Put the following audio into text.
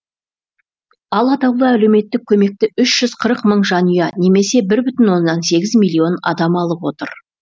ал атаулы әлеуметтік көмекті үш жүз қырық мың жанұя немесе бір бүтін оннан сегіз миллион адам алып отыр